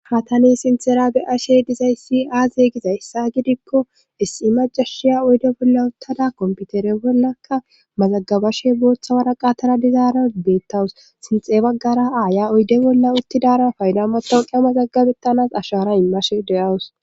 Ha tani sinthtjera be'ashe dizayssi aaze gizayssa gidikko issi macashiya oydde bolla uttada kompitere bollakka mazagabashe booththa waraqatara dizaara beettawus sinththe baggara aaya oydde bolla uttidara fayda matawoqan mazagabettanas aashara immashe de'awus